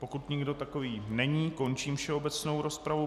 Pokud nikdo takový není, končím všeobecnou rozpravu.